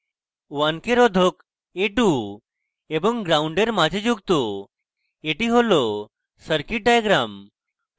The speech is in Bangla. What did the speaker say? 1k রোধক a2 এবং ground gnd এর মাঝে যুক্ত এটি হল circuit diagram